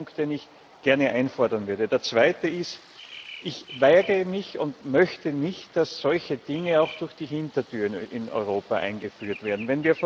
Das ist ein Punkt, den ich gerne einfordern würde. Der zweite Punkt ist Ich weigere mich und möchte nicht, dass solche Dinge auch durch die Hintertür in Europa eingeführt werden.